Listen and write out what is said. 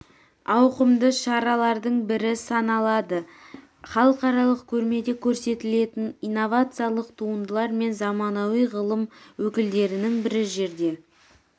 ауқымды шаралардың бірі саналады халықаралық көрмеде көрсетілетін инновациялық туындылар мен заманауи ғылым өкілдерінің бір жерде